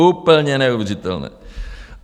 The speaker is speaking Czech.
Úplně neuvěřitelné.